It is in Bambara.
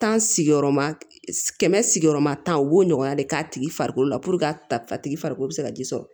sigiyɔrɔma kɛmɛ sigiyɔrɔma tan o b'o ɲɔgɔnna de k'a tigi farikolo la puruke a tigi farikolo bɛ se ka ji sɔrɔ